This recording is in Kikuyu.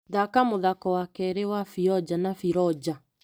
Thaka mũthako wa kerĩ wa Bĩonja na Bĩronja.